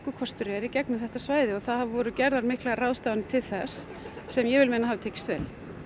kostur er í gegnum þetta svæði hér og það voru gerðar ráðstafanir til þess sem ég vil meina að hafi tekist vel